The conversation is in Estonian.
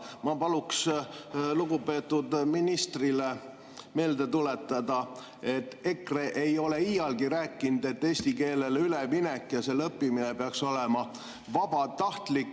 Aga ma palun lugupeetud ministrile meelde tuletada, et EKRE ei ole iialgi rääkinud, et eesti keelele üleminek ja selle õppimine peaks olema vabatahtlik.